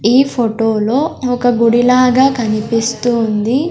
ఈ ఫోటోలో ఒక గుడి లాగా కనిపిస్తూ ఉంది.